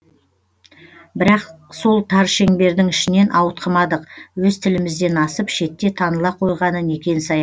бірақ сол тар шеңбердің ішінен ауытқымадық өз тілімізден асып шетте таныла қойғаны некен саяқ